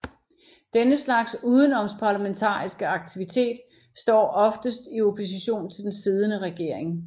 Denne slags udenomsparlamentariske aktivitet står oftest i opposition til den siddende regering